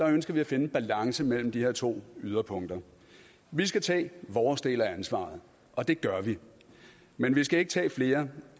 ønsker vi at finde en balance mellem de her to yderpunkter vi skal tage vores del af ansvaret og det gør vi men vi skal ikke tage flere